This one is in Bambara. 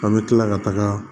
An bɛ tila ka taga